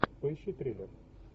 поищи триллер